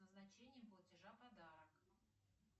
назначение платежа подарок